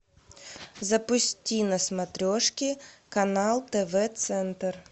запусти на смотрешке канал тв центр